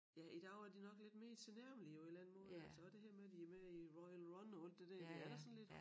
Ja i dag er de nok lidt mere tilnærmelige på en eller anden måde altså også det her med de er med i Royal Run og alt det der det er da sådan lidt